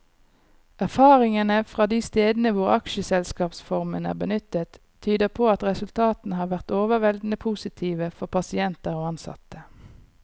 Erfaringene fra de stedene hvor aksjeselskapsformen er benyttet, tyder på at resultatene har vært overveldende positive for pasienter og ansatte.